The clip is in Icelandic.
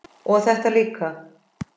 og þetta líka